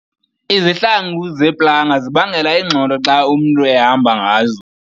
Izihlangu zeplanga zibangela ingxolo xa umntu ehamba ngazo.